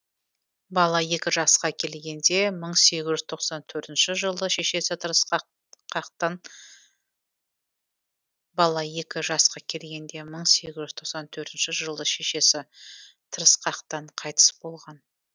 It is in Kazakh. бала екі жасқа келгенде жылы шешесі тырысқақтан қайтыс болған